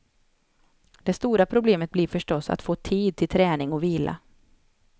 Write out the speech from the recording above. Det stora problemet blir förstås att få tid till träning och vila.